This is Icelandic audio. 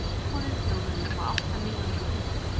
Tilboðið hljóðaði upp á átta milljónir punda.